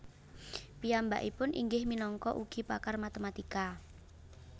Piyambakipun inggih minangka ugi pakar matematika